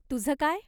तुझं काय?